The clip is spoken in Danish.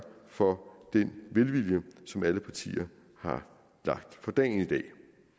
for den velvilje som alle partier har lagt for dagen i dag